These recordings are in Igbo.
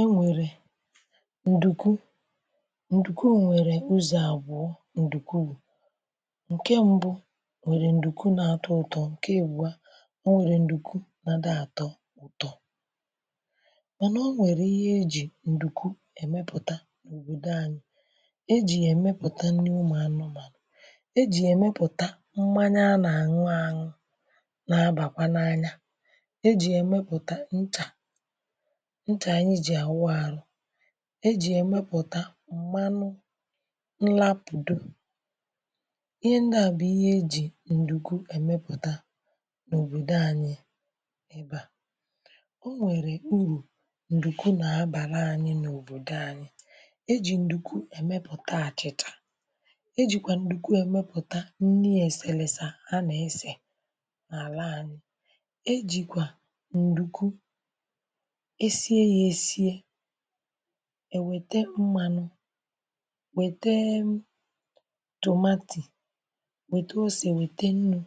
O nwere ǹdùku, ǹdùku nwèrè ụzọ̀ àbụọ̇ ǹdùkwu, bụ̀ ǹke mbụ nwèrè ǹdùku na-atọ ụtọ̇, ǹke ibuo a ọ nwèrè ǹdùku na-adịghi àtọ ụ̀tọ. Mànà ọ nwèrè ihe ejì ǹdùku èmepụ̀ta nòbòdò anyi. Ejì ya èmepụ̀ta nni ụmụ̀ anụmànụ̀, ejì ya èmepụ̀ta mmanya a na-àṅụ àṅụ na abakwa n’anya, e jì ya èmepùta ncha ncha anyi ji awu arụ,, e jì ya èmepùta m̀manụ nlȧ apùdo, ihe ndị à bụ̀ ihe e jì ǹdùku èmepùta n’òbòdò anyi ebe à. O nwèrè urù ǹdùkwu nà-abàra anyi n’òbòdò anyi, e jì ǹdùkwu èmepùta àchịchà, e jìkwà ǹdùku èmepùta nni èseleesa a nà-ese n’àla anyi, e jìkwa ǹdùku, esiri esi, wee ribe ya. èwète mmȧnụ̇ wètee m tomato wète osì wète nnụ̇,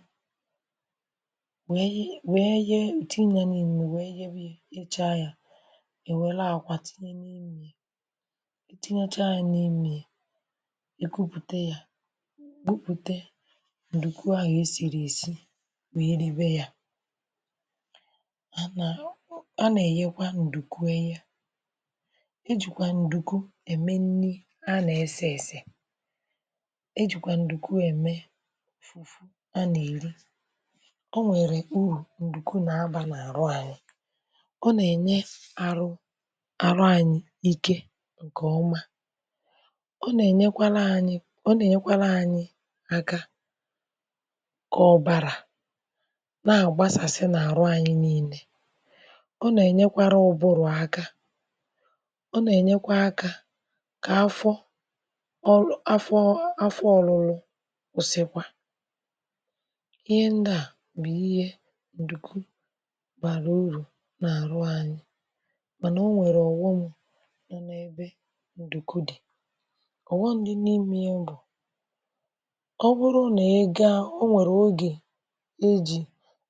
wee wee ye tinye n’ime wee nye we nyechaa ya, e were akwà tinye n’imė ya tinyechaa yȧ n’imė ya, èkupùte ya kupùte ǹdùku à gà-esìrì èsi wèe ribe ya. Ana eghekwa nduku eye, ejikwa ǹdùku eme nni a na ese ese, ejike ǹdùkueme a na-eri, O nwere uru ǹdùku na aba n;aru anyi. Ọ na enye arụ anyi ike nke oma, ọ na enyekwala anyi aka ka ọbara na agbasasi n’aru anyi nile. ọ na enyekwara ụburụ aka, ọ na enyekwa aka n’afo um n’afọ orụrụ kwusikwa. Ịhe ndi a bu ihe ǹdùku bàrà urù nà-àrụ anyị̇, mànà o nwèrè ọ̀ghọm nọ n’ebe ǹdùku dì, ọ̀ghọm dị n’ime ye bụ̀, ọ bụrụ nà ị gaa, o nwèrè ogè e jì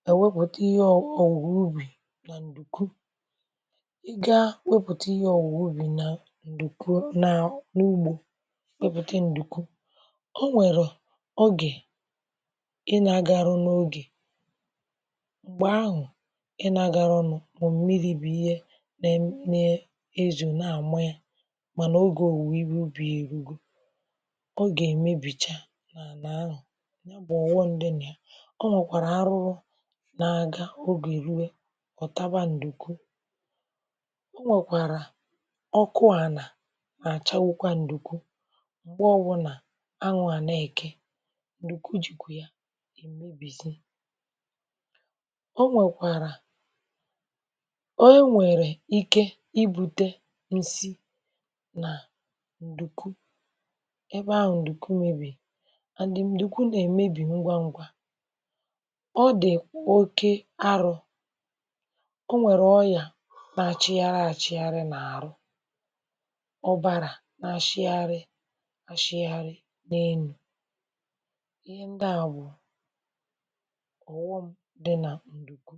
èwepụ̀ta ihe ọ̀wuwọ̀ ubì nà ǹdùku, ga na wepùte ihe owuwo ubi na ǹdùku na ugbo, weputa ǹdùku, o nwèrè ogè ị nà-agaru n’ogè m̀gbè ahụ̀ ị nà-agaru nù mà mmiri̇ bụ̀ ihe ne ne-ezo na-àma yȧ, mànà ogè òwùwè ihe ubì ya erugo. Ogè èmebìchà n’ala ahụ, na oghọm di na ya; ọ nwèkwàrà arụrụ nà aga ogè rue ọ̀taba ǹdùku, o nwekwara ọ kụọ̇ àlà n’àchawukwa ǹdùku mgbe owụna anwụ a na eke, ǹdùku jìkwụ̇ ya èmebìzi. o nwèkwàrà, onwèrè ike ibu̇tė ǹsị nà ǹdùku, ebe ahụ̀ ǹdùku mebìri and ǹdùku nà èmebì ngwa ǹgwà. Ọ dị̀ oke arọ̇, o nwere ọrịa n’achịgharị achịgharị n’ahụ, ọbara n’ashịgharị ashịgharị n’enu. Ịhe ndị a bụ̀ ọ̀ghọm dị n’ ǹdùku.